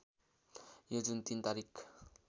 यो जुन ३ तारिक